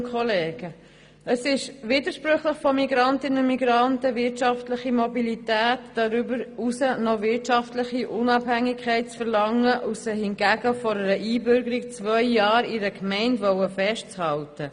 Es ist widersprüchlich von Migrantinnen und Migranten einerseits wirtschaftliche Mobilität und darüber hinaus noch wirtschaftliche Unabhängigkeit zu verlangen und sie anderseits vor einer Einbürgerung zwei Jahre in einer Gemeinde festzuhalten.